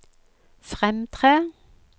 fremtre